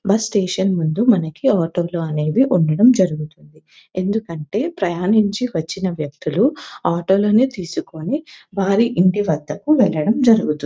bus station ముందు మనకి auto లు అనేవి ఉండటం జరుగుతుంది ఎందుకంటే ప్రయాణించి వచ్చిన వ్యక్తులు ఆటో లని తీసుకుని వారి ఇంటి వద్దకు వెళ్లటం జరుగుతుం --